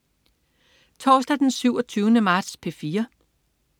Torsdag den 27. marts - P4: